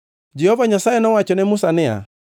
Jehova Nyasaye nowacho ne Musa niya,